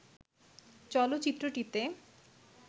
চলচ্চিত্রটিতে